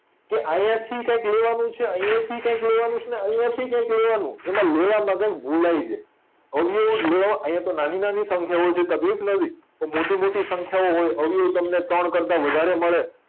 કે અયાથી કયક લેવાનું છે અયાથી કયક લેવાનું છે ને અયાથી કયક લેવાનું એમાં લેવામાં કયક ભૂલાય જાય અવયવ લ્યો આયાતો નાની નાની સંખ્યાઓ છે તકલીફ નથી પણ મોટી મોટી સંખ્યાઓ હોય અવયવ તમને ત્રણ કરતા વધારે મળે